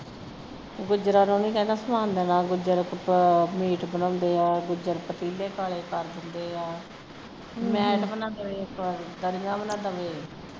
ਗੁੱਜਰਾਂ ਨੂੰ ਕਹਿੰਦਾ ਸੀ ਸਮਾਨ ਦੇਣਾ ਗੁੱਜਰ ਮੀਟ ਬਣਾਉਂਦੇ ਹਾਂ ਗੁੱਜਰ ਪਤੀਲੇ ਕਾਲੇ ਕਰ ਦਿੰਦੇ ਹਾਂ ਮੈਟ ਵੀ ਨਾ ਦਵੇ ਦਰੀਆਂ ਵੀ ਨਾ ਦਵੇ